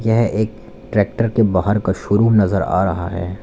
यह एक ट्रैक्टर के बाहर का शोरूम नजर आ रहा है।